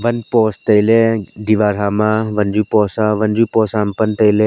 pan post. tailey diwar hama wanzu post a wanzu post hama pan tailey.